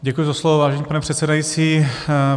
Děkuji za slovo, vážený pane předsedající.